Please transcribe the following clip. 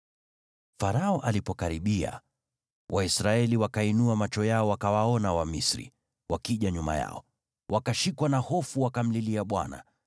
Farao alipokaribia, Waisraeli wakainua macho yao, wakawaona Wamisri wakija nyuma yao. Wakashikwa na hofu, wakamlilia Bwana .